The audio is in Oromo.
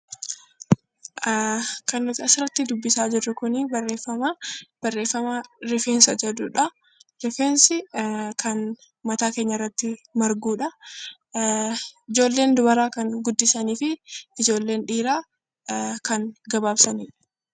Kan nuti asirratti dubbisaa jirru Kun barreeffamaa. Barreeffama rifeensa jedhudha. Rifeensi kan mataa keenya irratti margudhaa. Ijoolleen dubaraa kan guddisanii fi ijoolleen dhiiraa kan gabaabsaniidha.